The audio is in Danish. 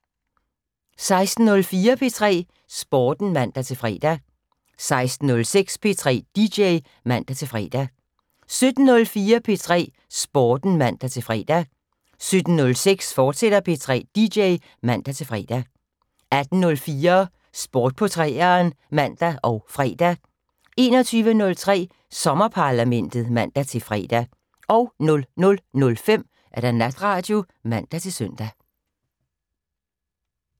16:04: P3 Sporten (man-fre) 16:06: P3 dj (man-fre) 17:04: P3 Sporten (man-fre) 17:06: P3 dj, fortsat (man-fre) 18:04: Sport på 3'eren (man og fre) 21:03: Sommerparlamentet (man-fre) 00:05: Natradio (man-søn)